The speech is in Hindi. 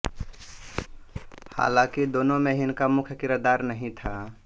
हालांकि दोनों में ही इनका मुख्य किरदार नहीं था